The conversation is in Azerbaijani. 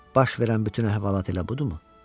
Baş verən bütün əhvalat elə budumu?